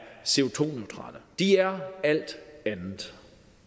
co de er alt andet